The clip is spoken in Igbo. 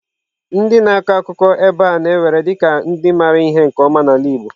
Ndị na-akọ akụkọ ebe a na-ewere dị ka ndị maara ihe na nke ọma n'ala igbo.